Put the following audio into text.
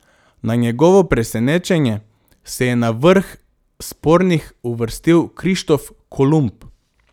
Na njegovo presenečenje se je na vrh spornih uvrstil Krištof Kolumb.